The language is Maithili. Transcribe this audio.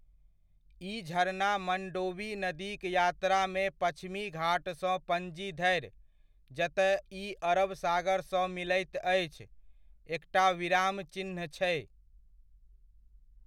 ई झरना मंडोवी नदीक यात्रामे पच्छिमी घाटसँ पणजी धरि, जतय ई अरब सागरसँ मिलैत अछि, एकटा विराम चिह्न छै।